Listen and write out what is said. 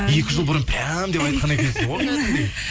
екі жыл бұрын прям деп айтқан екенсіз ғой